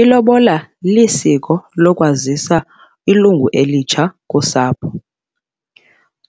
Ilobola lisiko lokwazisa ilungu elitsha kusapho.